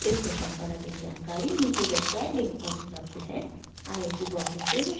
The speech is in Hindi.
इस मिशन पर अधिक जानकारी नीच दर्शाये लिंक पर उपलब्ध है